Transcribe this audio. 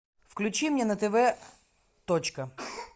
включи мне на тв точка